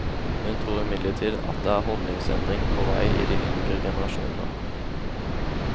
Hun tror imidlertid det er en holdningsendring på vei i de yngre generasjonene.